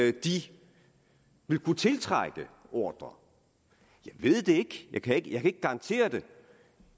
at de vil kunne tiltrække ordrer jeg ved det jeg kan ikke garantere det